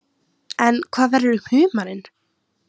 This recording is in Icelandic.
En hvað verður um humarinn?